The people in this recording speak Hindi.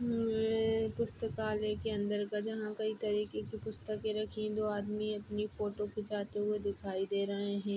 ह-म्म- पुस्तकालय के अंदर का जहाँ कई तरीके की पुस्तके रखी-- दो आदमी अपनी फोटो खीचाते हुए दिखाई दे रहे है।